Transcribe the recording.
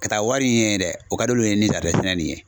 Ka taa wari ɲini ye dɛ o ka d'olu ye ni sɛnɛ nin ye.